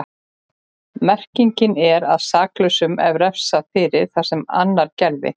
Merkingin er að saklausum er refsað fyrir það sem annar gerði.